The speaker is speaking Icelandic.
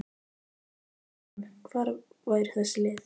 Í enska píramídanum, hvar væru þessi lið?